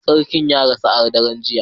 Sarkin ya rasu a daren jiya